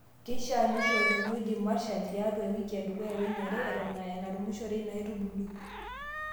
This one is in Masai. Keishaa neishi olchani oji marshal tiaatu ewiki edukuya weniare Eton aa enarumishore ina aitubului.